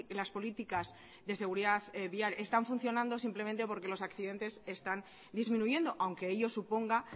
las políticas de seguridad vial están funcionando simplemente porque los accidentes están disminuyendo aunque ello suponga